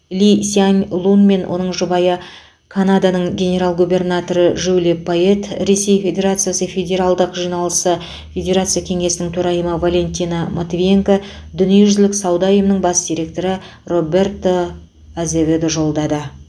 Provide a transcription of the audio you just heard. ли сянь лун мен оның жұбайы канаданың генерал губернаторы жюли пайет ресей федерациясы федералдық жиналысы федерация кеңесінің төрайымы валентина матвиенко дүниежүзілік сауда ұйымының бас директоры роберто азеведо жолдады